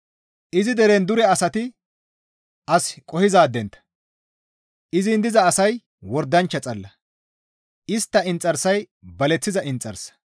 Izi deren dure asati as qohizaadentta; izin diza asay wordanchcha xalla; istta inxarsay baleththiza inxarsa.